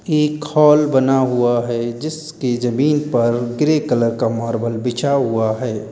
एक हॉल बना हुआ है जिसके जमीन पर ग्रे कलर का मार्बल बिछा हुआ है।